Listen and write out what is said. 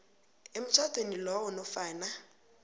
emtjhadweni lowo nofana